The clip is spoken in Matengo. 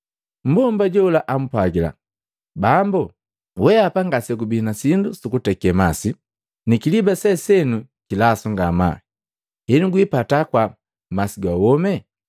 Mmbomba jola ampwagila, “Bambu, weapa ngasegubi na sindu sukuteke masi ni kiliba se seno kilasu ngamaa. Henu gwipata kwaa, masi ga womi?